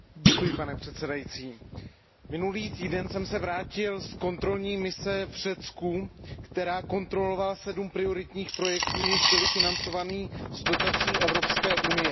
Pane předsedající, minulý týden jsem se vrátil z kontrolní mise v Řecku, která kontrolovala sedm prioritních projektů, jež byly financovány z dotací Evropské unie.